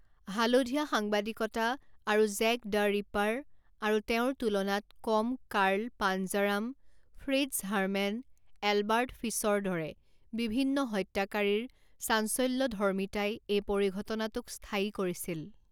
হালধীয়া সাংবাদিকতা আৰু জেক দ্য ৰিপাৰ, আৰু তেওঁৰ তুলনাত কম Carl Panzram, Fritz Haarmann, Albert Fish দৰে বিভিন্ন হত্যাকাৰীৰ চাঞ্চল্যধৰ্মীতাই এই পৰিঘটনাটোক স্থায়ী কৰিছিল।